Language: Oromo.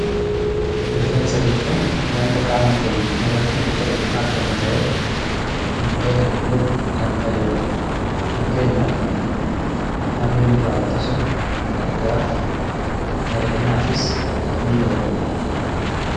Rifeensa jechuun wanta qaama keenya irratti biqiluun argamu ta'ee wantoota hedduuf kan nu fayyadudha. Fakkeenyaaf aduu nurraa ittisuuf gargaara bareedinaafis ni oola.